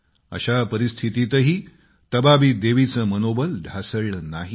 अशा परिस्थितीतही तबाबी देवीचे मनोबल ढासळले नाही